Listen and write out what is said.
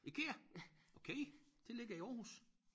IKEA okay det ligger i Aarhus